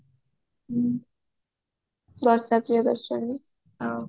ବର୍ଷା ପ୍ରିୟଦର୍ଶନୀ ଆଉ